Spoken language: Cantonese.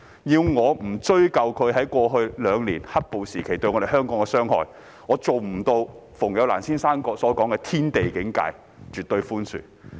要我不追究他們在過去兩年"黑暴"時期對香港的傷害，我做不到如馮友蘭先生所說的"天地境界"般絕對寬恕。